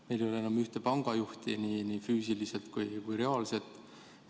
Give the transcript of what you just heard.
Meil ei ole enam ühte pangajuhti, ei füüsiliselt ega reaalselt.